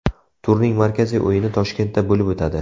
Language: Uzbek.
Turning markaziy o‘yini Toshkentda bo‘lib o‘tadi.